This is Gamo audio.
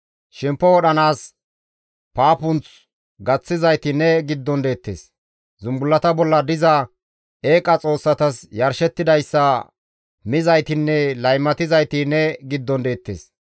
Shempo wodhanaas paapunth gaththizayti ne giddon deettes; zumbullata bolla diza eeqa xoossatas yarshettidayssa mizaytinne laymatizayti ne giddon deettes.